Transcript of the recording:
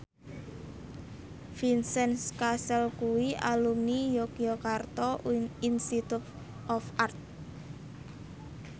Vincent Cassel kuwi alumni Yogyakarta Institute of Art